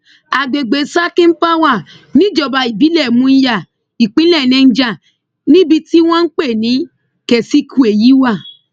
àgbègbè sakin pawa níjọba ìbílẹ munya ìpínlẹ niger níbi tí wọn ń pè ní kesikwe yìí wà